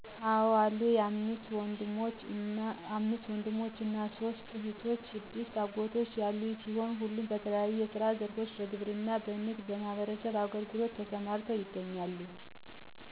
አዎ አሉኝ፣ አምስት ወንድሞችና ሦስት እህቶች፣ ስድስት አጎቶች ያሉኝ ሲሆን ሁሉም በተለያዩ የስራ ዘርፎች በግብርና፣ በንግድና በማህበረሰብ አገልግሎት ተሰማርተው ይገኛሉ።